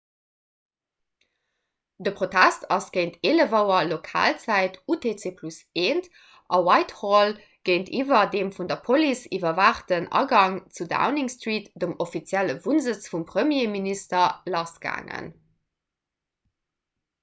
de protest ass géint 11.00 auer lokalzäit utc+1 a whitehall géintiwwer dem vun der police iwwerwaachten agang zu downing street dem offizielle wunnsëtz vum premierminister lassgaangen